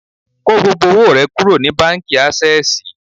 Kó gbogbo owó rẹ kúrò ní báńkì Ásẹ́sìì